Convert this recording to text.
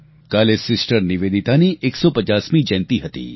કાલે સિસ્ટર નિવેદિતાની 150 મી જયંતી હતી